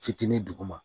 Fitinin duguma